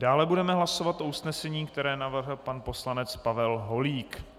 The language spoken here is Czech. Dále budeme hlasovat o usnesení, které navrhl pan poslanec Pavel Holík.